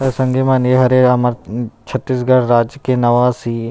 त संगी मन ये हरे हमर छत्तीसगढ़ राज्य के नवा सीएम --